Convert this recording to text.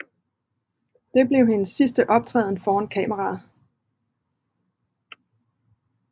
Det blev hendes sidste optræden foran kameraet